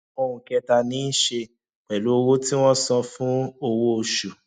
ohun kẹta ní í ṣe pẹlú owó tí wọn san fún owó oṣù